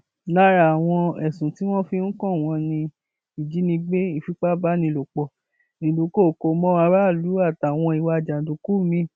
lára àwọn ẹsùn tí wọn fi ń kàn wọn ni ìjínigbé ìfipábánilòpọ ìdúnkooko mọ aráàlú àtàwọn ìwà jàǹdùkú miín